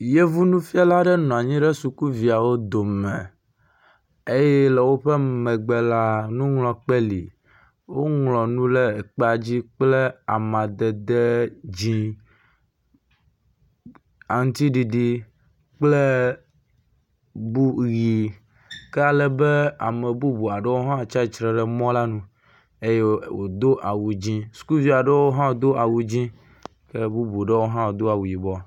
yevu nufiala ɖe nɔnyi ɖe sukuviawo dome eye le wó megbe la nuŋɔŋlɔ kpe li wó ŋlɔ nu le kpadzi kple amadede dzĩ aŋtiɖiɖi kple bu yi ke alebe amebubu aɖe hã tsitre le mɔ la nu eye wodó awu dzĩ skuviaɖewo hã do awu dzĩ ke bubuaɖewo do awu yibɔ